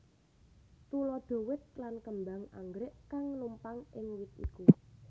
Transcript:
Tuladha wit lan kembang anggrèk kang numpang ing wit iku